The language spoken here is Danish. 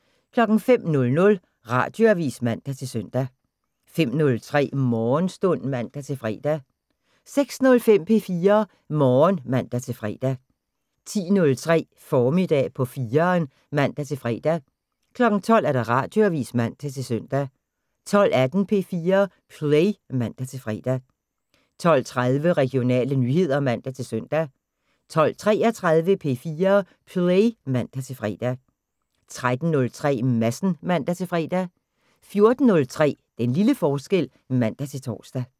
05:00: Radioavisen (man-søn) 05:03: Morgenstund (man-fre) 06:05: P4 Morgen (man-fre) 10:03: Formiddag på 4'eren (man-fre) 12:00: Radioavisen (man-søn) 12:18: P4 Play (man-fre) 12:30: Regionale nyheder (man-søn) 12:33: P4 Play (man-fre) 13:03: Madsen (man-fre) 14:03: Den lille forskel (man-tor)